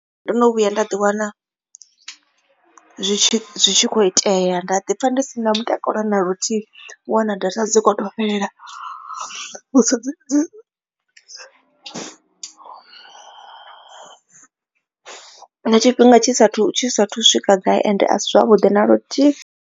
Ndo no vhuya nda ḓi wana zwi tshi kho itea nda ḓi pfha ndi si na mutakalo na luthihi u wana data dzi kho to fhelela tshifhinga tshi saathu tshi saathu u swika gai ende a si zwavhuḓi na luthihi.